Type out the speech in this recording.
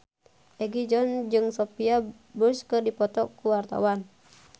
Egi John jeung Sophia Bush keur dipoto ku wartawan